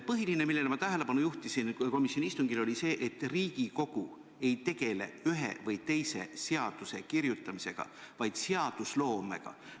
Põhiline, millele ma tähelepanu juhtisin komisjoni istungil, oli see, et Riigikogu ei tegele ühe või teise seaduse kirjutamisega, vaid seadusloomega.